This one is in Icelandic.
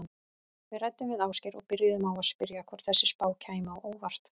Við ræddum við Ásgeir og byrjuðum á að spyrja hvort þessi spá kæmi á óvart?